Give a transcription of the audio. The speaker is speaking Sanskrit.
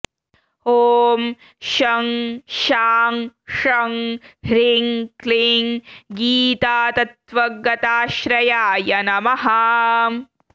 ॐ शं शां षं ह्रीं क्लीं गीतातत्त्वगताश्रयाय नमः